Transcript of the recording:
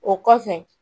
O kɔfɛ